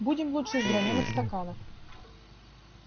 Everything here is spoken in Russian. будем лучше из гранёных стаканов